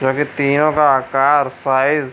जो कि तीनो का आकार साइज --